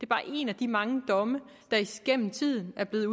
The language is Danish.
bare en af de mange domme der gennem tiden er blevet